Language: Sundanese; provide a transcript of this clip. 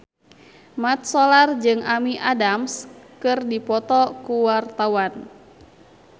Mat Solar jeung Amy Adams keur dipoto ku wartawan